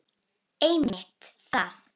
Einmitt það.